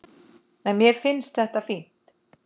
En mér finnst þetta fínt.